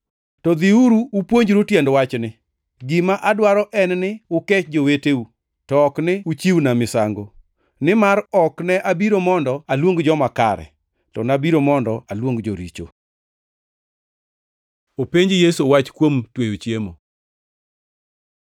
To dhiuru upuonjru tiend wachni, ‘Gima adwaro en ni ukech joweteu, to ok ni uchiwna misango.’ + 9:13 \+xt Hos 6:6\+xt* Nimar ok ne abiro mondo aluong joma kare, to nabiro mondo aluong joricho.” Openj Yesu wach kuom tweyo chiemo